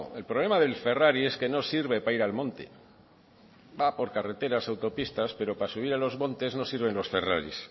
el problema del ferrari es que no sirve para ir al monte va por carreteras autopistas pero para subir a los montes no sirven los ferrari